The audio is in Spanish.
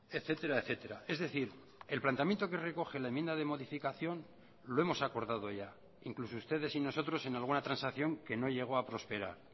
etcétera etcétera es decir el planteamiento que recoge la enmienda de modificación lo hemos acordado ya incluso ustedes y nosotros en alguna transacción que no llego a prosperar